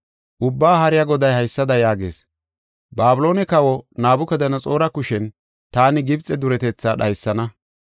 Ubbaa Haariya Goday haysada yaagees: “Babiloone kawa Nabukadanaxoora kushen taani Gibxe duretetha dhaysana.